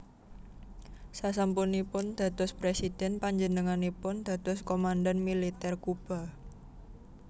Sasampunipun dados Présidhèn panjenenganipun dados komandhan Militer Kuba